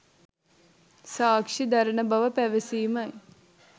සාක්ෂි දරන බව පැවැසීමයි.